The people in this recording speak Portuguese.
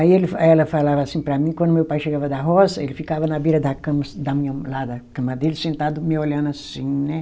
Aí ele fa, ela falava assim para mim, quando meu pai chegava da roça, ele ficava na beira da cama assim da minha, lá da cama dele, sentado, me olhando assim, né?